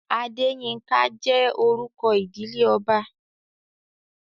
Adéyínká jẹ́ orúkọ ìdílé ọba